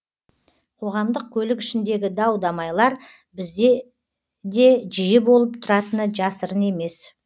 қоғамдық көлік ішіндегі дау дамайлар бізде де жиі болып тұратыны жасырын емес